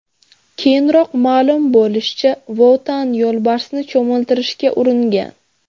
Keyinroq ma’lum bo‘lishicha, Vo Tan yo‘lbarsni cho‘miltirishga uringan.